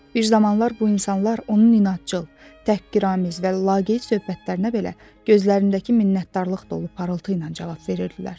Bir zamanlar bu insanlar onun inadcıl, tək qirəmiz və laqeyd söhbətlərinə belə gözlərindəki minnətdarlıq dolu parıltı ilə cavab verirdilər.